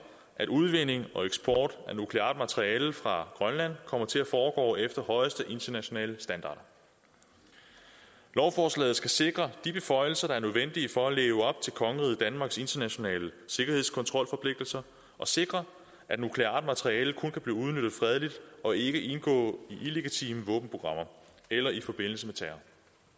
at udvinding og eksport af nukleart materiale fra grønland kommer til at foregå efter højeste internationale standarder lovforslaget skal sikre de beføjelser der er nødvendige for at leve op til kongeriget danmarks internationale sikkerhedskontrolforpligtelser og sikre at nukleart materiale kun kan blive udnyttet fredeligt og ikke indgå i illegitime våbenprogrammer eller i forbindelse med terror